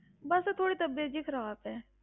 ਬਸ ਥੋੜ੍ਹੀ ਤਬੀਅਤ ਜਿਹੀ ਖ਼ਰਾਬ ਹੈ।